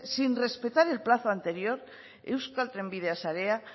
sin respetar el plazo anterior euskal trenbidea sarea